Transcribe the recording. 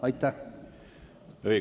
Aitäh!